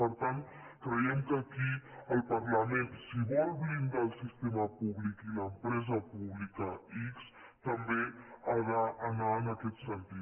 per tant creiem que aquí el parlament si vol blindar el sistema públic i l’empresa pública ics també ha d’anar en aquest sentit